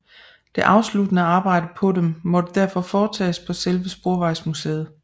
Det afsluttende arbejde på dem måtte derfor foretages på selve Sporvejsmuseet